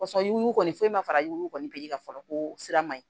Sɔrɔ yugu ma fara yugubali ka fɔlɔ ko sira man ɲi